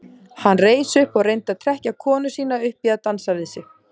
Hann reis upp og reyndi að trekkja konu sína upp í að dansa við sig.